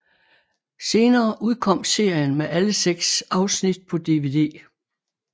Senere udkom serien med alle seks afsnit på DVD